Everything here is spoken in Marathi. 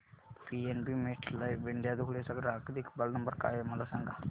पीएनबी मेटलाइफ इंडिया धुळे चा ग्राहक देखभाल नंबर काय आहे मला सांगा